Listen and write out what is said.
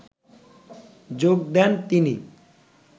যোগ দেন তিনি